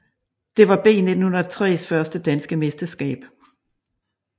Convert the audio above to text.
Det var B 1903s første danske mesterskab